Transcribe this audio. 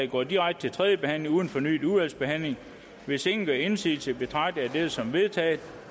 går direkte til tredje behandling uden fornyet udvalgsbehandling hvis ingen gør indsigelse betragter jeg dette som vedtaget